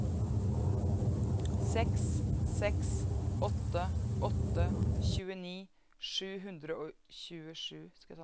seks seks åtte åtte tjueni sju hundre og tjuesju